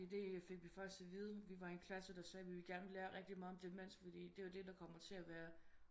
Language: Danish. Fordi det fik vi faktisk at vide vi var en klasse der sagde vi vil gerne lære rigtigt meget om demens fordi det er det der kommer til at være